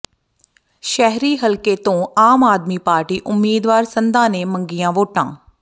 ਸ਼ਹਿਰੀ ਹਲਕੇ ਤੋਂ ਆਮ ਆਦਮੀ ਪਾਰਟੀ ਉਮੀਦਵਾਰ ਸੰਧਾ ਨੇ ਮੰਗੀਆਂ ਵੋਟਾਂ